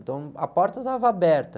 Então, a porta estava aberta.